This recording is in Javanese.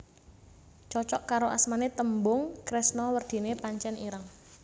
Cocok karo asmane tembung kresna werdine pancen ireng